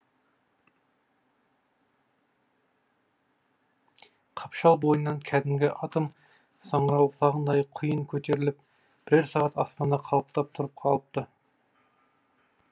қапшал бойынан кәдімгі атом саңырауқұлағындай құйын көтеріліп бірер сағат аспанда қалықтап тұрып алыпты